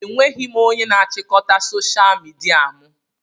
Enweghị m onye na-achịkọta soshal midia mụ